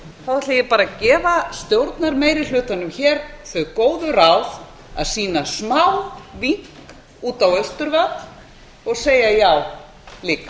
þá ætla ég bara að gefa stjórnarmeirihlutanum hér þau góðu ráð að sýna smávink út á austurvöll og segja líka já